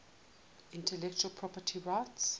intellectual property rights